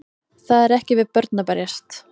Það er ekki við börn að berjast